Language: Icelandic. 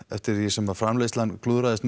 eftir því sem framleiðslan klúðraðist